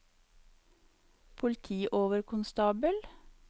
politioverkonstabel